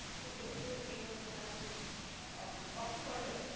খুব বেশি দূর এগোনোটা খুব স~মানে কষ্ট কর হয়ে যায়